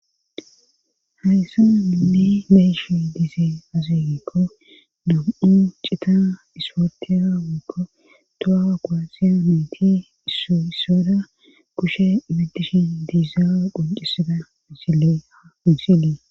hayssanainne mayishi disee azeegikko dum7u cita isportera wiikko tohaa gwasiya meyti isso issoda kushe ibidish diizzaa qoncisida misile a unsilie